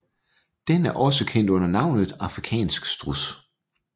Den er også kendt under navnet afrikansk struds